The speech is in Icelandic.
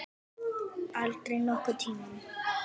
Aldrei nokkurn tíma!